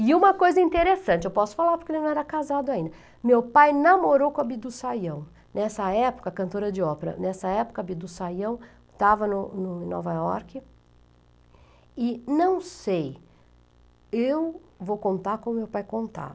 E uma coisa interessante, eu posso falar porque ele não era casado ainda, meu pai namorou com a Bidu Sayão, nessa época, cantora de ópera, nessa época a Bidu Sayão estava no no em Nova York e não sei, eu vou contar como meu pai